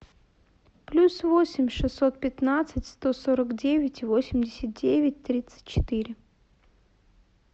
плюс восемь шестьсот пятнадцать сто сорок девять восемьдесят девять тридцать четыре